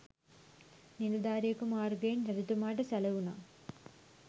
නිලධාරියකු මාර්‍ගයෙන් රජතුමාට සැළවුණා.